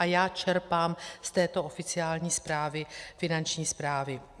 A já čerpám z této oficiální zprávy Finanční správy.